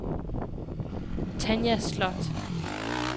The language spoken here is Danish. Tanja Slot